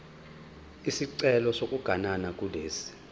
isicelo sokuganana kulesi